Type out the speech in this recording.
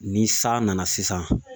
Ni san nana sisan